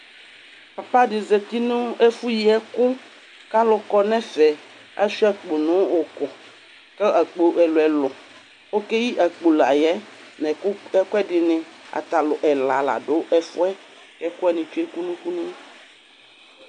Papaɖi zati nʋ ɛfu yie ɛkʋ k'alʋ kɔnɛfɛ aaɣsua akpo nʋ ɛkʋ, k'akpo ɛlʋɛlʋƆkeyi akpo layɛ n'ɛkʋɛɖini aata alʋ ɛla la ɖʋ ɛfuɛ k'ɛkuwani tsue' kunukunu